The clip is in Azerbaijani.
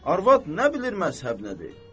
Arvad nə bilir məzhəb nədir?